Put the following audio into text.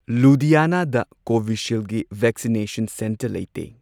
ꯂꯨꯗꯤꯌꯥꯅꯥꯗ ꯀꯣꯕꯤꯁꯤꯜꯒꯤ vaccination centre ꯂꯩꯇꯦ꯫